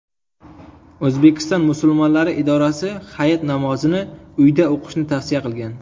O‘zbekiston musulmonlari idorasi Hayit namozini uyda o‘qishni tavsiya qilgan .